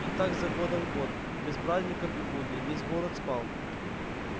и так за годом год без праздников и будней весь город спал